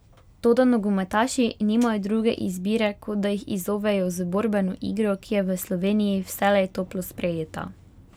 Toda nogometaši nimajo druge izbire, kot da jih izzovejo z borbeno igro, ki je v Sloveniji vselej toplo sprejeta.